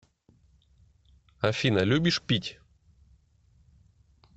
афина любишь пить